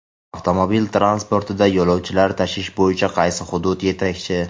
Avtomobil transportida yo‘lovchilar tashish bo‘yicha qaysi hudud yetakchi?.